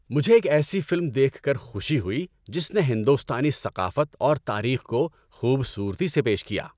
مجھے ایک ایسی فلم دیکھ کر خوشی ہوئی جس نے ہندوستانی ثقافت اور تاریخ کو خوبصورتی سے پیش کیا۔